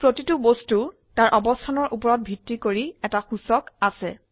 প্ৰতিটি বস্তু তাৰ অবস্থানৰ উপৰত ভিত্তি কৰি এটি সূচক আছে